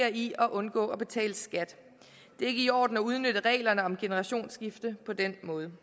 i at undgå at betale skat det er ikke i orden at udnytte reglerne om generationsskifte på den måde